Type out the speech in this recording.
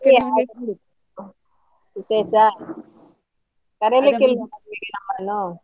ವಿಶೇಷ ಕರಿಲಿಕ್ಕೆ ಇಲ್ವಾ ಮದ್ವೆಗೆ ನಮ್ಮನ್ನು.